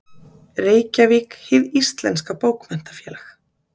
Reykjavík: Hið Íslenska Bókmenntafélag.